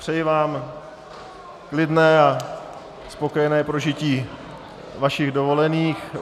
Přeji vám klidné a spokojené prožití vašich dovolených.